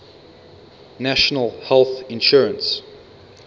national health insurance